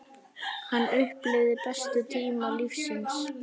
Hann upplifði bestu tíma lífs síns.